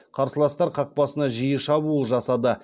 қарсыластар қақпасына жиі шабуыл жасады